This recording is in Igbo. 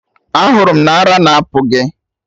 Ahụrụ m na ara na apụ gị!